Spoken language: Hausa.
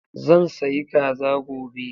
Zan sayi kaza gobe.